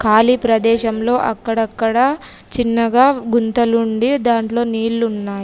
ఖాళీ ప్రదేశంలో అక్కడక్కడా చిన్నగా గుంతలుండి దాంట్లో నీళ్ళున్నాయి.